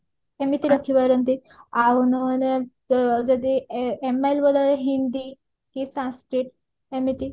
ଏମିତି ରଖି ପାରନ୍ତି ଆଉ ନହେଲ ଏ ଯଦି ଏ MIL ବଦଳରେ ହିନ୍ଦୀ କି Sanskrit ଏମିତି